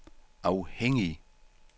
afhængig